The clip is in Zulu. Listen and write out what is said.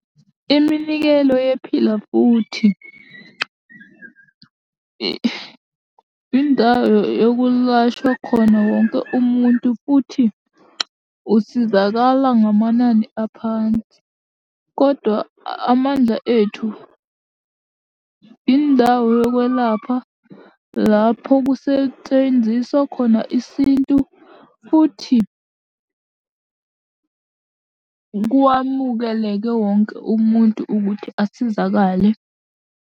Iminikelo yePhila Futhi, indawo yokulashwa khona wonke umuntu, futhi usizakala ngamanani aphansi, kodwa Amandla Ethu, indawo yokwelapha lapho kusetshenziswa khona isintu futhi kwamukeleke wonke umuntu ukuthi asizakale.